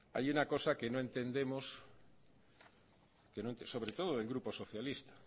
hay una cosa que no entendemos sobre todo del grupo socialista